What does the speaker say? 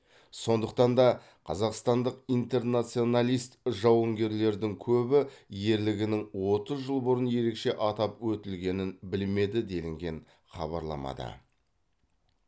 сондықтан да қазақстандық интернационалист жауынгерлердің көбі ерлігінің отыз жыл бұрын ерекше атап өтілгенін білмеді делінген хабарламада